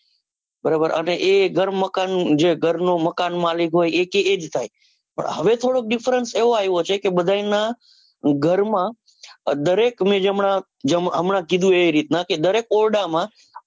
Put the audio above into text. બરાબર અને એ ઘર મકાન જે ઘર નો મકાનમાલિક હોય એકે એજ થાય. પણ હવે થોડો difference એવો આવ્યો છે, કે બધાયના ઘરમાં દરેક ના જેમ હમણાં જ કીધું. એ રીતના કે દરેક ઓરડામાં